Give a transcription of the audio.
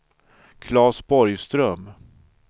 Claes Borgström